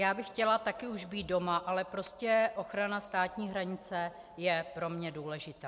Já bych chtěla také už být doma, ale prostě ochrana státní hranice je pro mě důležitá.